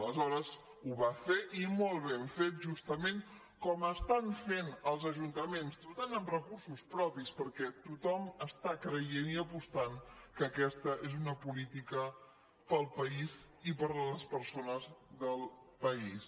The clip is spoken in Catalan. aleshores ho va fer i molt ben fet justament com estan fent els ajuntaments dotant amb recursos propis perquè tothom està creient i apostant que aquesta és una política per al país i per a les persones del país